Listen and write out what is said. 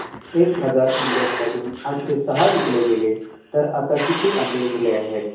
एक हजार आंब्यांमधून आठशे सहा विकले गेले तर आता किती आंबे उरले आहेत